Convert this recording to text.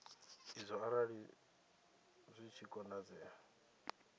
idzo arali zwi tshi konadzea